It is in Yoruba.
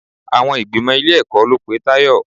Àwọn ìgbìmò ilé-ẹ̀kọ́ ló pe Tayọ.